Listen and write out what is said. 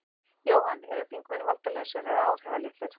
Jóhann: Eru þingmenn valdalausir eða áhrifalitlir?